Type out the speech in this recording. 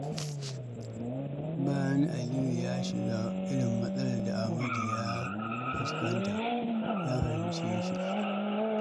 Bayan Aliyu ya shiga irin matsalar da Amadu ya fuskanta, ya fahimce shi.